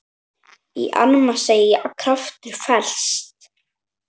Í armi seggja kraftur felst.